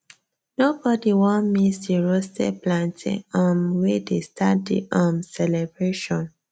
nobody wan miss the roasted plantain um wey dey start the um celebration